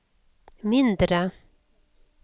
mindre